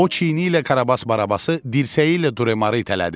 O çiyini ilə Karabas-Barabası, dirsəyi ilə Duremarı itələdi.